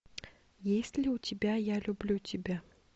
есть ли у тебя я люблю тебя